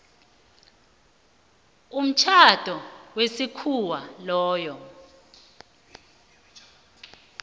umtjhado wesikhuwa lowo